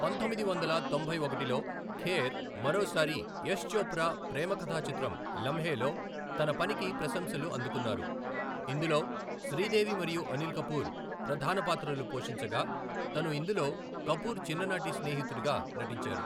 పంతొమ్మిది వందల తొంభై ఒకటిలో, ఖేర్ మరోసారి యష్ చోప్రా ప్రేమ కథా చిత్రం లమ్హేలో తన పనికి ప్రశంసలు అందుకున్నారు, ఇందులో శ్రీదేవి మరియు అనిల్ కపూర్ ప్రధాన పాత్రలు పోషించగా, తను ఇందులో కపూర్ చిన్ననాటి స్నేహితుడుగా నటించారు.